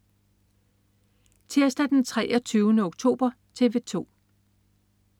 Tirsdag den 23. oktober - TV 2: